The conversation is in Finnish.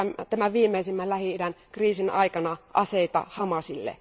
tämän viimeisimmän Lähi idän kriisin aikana aseita Hamasille.